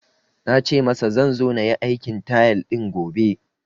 Na ce masa zan zo na yi aikin tile din gobe